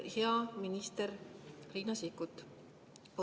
Hea minister Riina Sikkut!